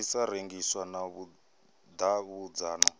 i sa rengiswi na vhudavhidzano